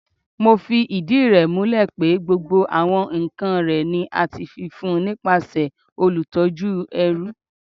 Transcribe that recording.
Mo fi idi rẹ mulẹ pe gbogbo awọn nkan rẹ ni a ti fi fun nipasẹ olutọju ẹru